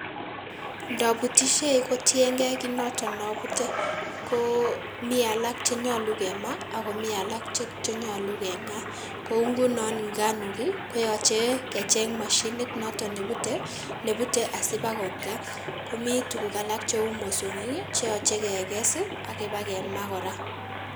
Ndabutishie kotiengei kioto abutei ko mi alak chenyolu kemaa ako mi alak chenyolu keng'aa, kou nguno nganok koyache kecheng mashinit noto nebute, nebute asipakongaa, komi tuguk alak cheu mosongik cheyache ipekengas ak ipkengaa kora.